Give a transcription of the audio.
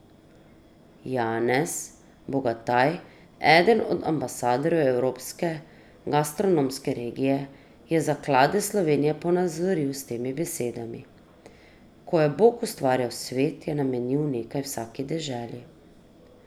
Janez Bogataj, eden od ambasadorjev evropske gastronomske regije, je zaklade Slovenije ponazoril s temi besedami: "Ko je Bog ustvarjal svet, je namenil nekaj vsaki deželi.